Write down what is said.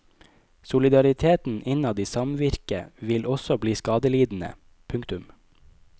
Solidariteten innad i samvirket vil også bli skadelidende. punktum